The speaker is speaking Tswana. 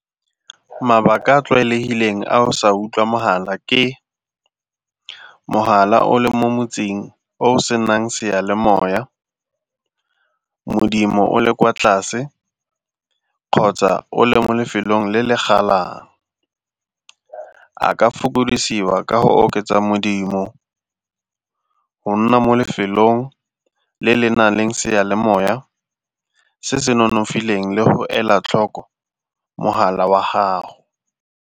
Mabaka a a tlwaelegileng a o sa utlwa mogala ke mogala o le mo motseng o o senang seyalemoya, modimo o le kwa tlase kgotsa o le mo lefelong le le galang. A ka fokodisiwa ka go oketsa modimo, go nna mo lefelong le le na leng seyalemoya se se nonofileng le go ela tlhoko mogala wa gago.